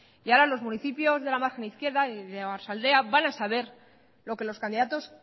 y ahora los municipios de la margen izquierda y de oarsoaldea van a saber lo que los candidatos